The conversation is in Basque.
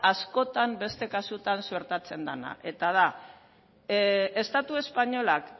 askotan beste kasutan suertatzen dena eta da estatu espainolak